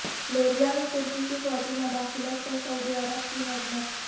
Libya میں ترکی کی فوجی مداخلت پرسعودی عرب کی مذمت